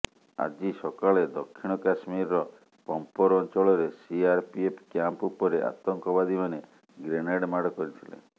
ଆଜି ସକାଳେ ଦକ୍ଷିଣ କାଶ୍ମୀରର ପମ୍ପୋର ଅଞ୍ଚଳରେ ସିଆରପିଏଫ କ୍ୟାମ୍ପ ଉପରେ ଆତଙ୍କବାଦୀମାନେ ଗ୍ରେନେଡ ମାଡ କରିଥିଲେ